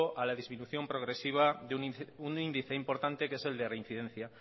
a la disminución progresiva de un índice importante que es el de reincidencia